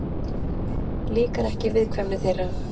Líkar ekki viðkvæmni þeirra.